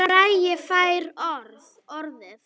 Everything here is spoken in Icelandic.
Bragi fær orðið